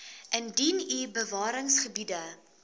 indien u bewaringsgebiede